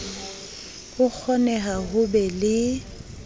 ho kgoneha ho be le